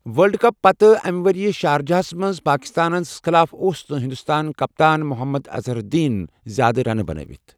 World cup پتہٕ أمیۍ وریہٕ شارجہس منٛز پٲکستانس خٕلاف اوس نہٕ ہندوستٲن کپتان محمد اظہر الدین زیادٕ رنہٕ بنٲتھۍ۔